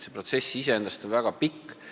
Protsess on iseenesest väga pikk.